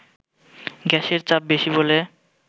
গ্যাসের চাপ বেশি বলে